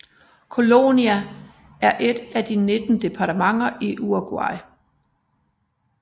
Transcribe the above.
Colonia er et af de 19 departementer i Uruguay